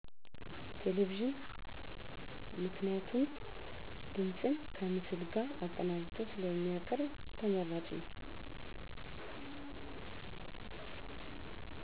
ቴሌቪዥን ምክንያቱም ድምፅን ከምስል ጋር አቀናጅቶ ስለሚያቀርብ ተመራጭ ነው።